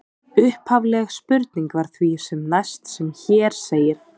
Upphafleg spurning var því sem næst sem hér segir: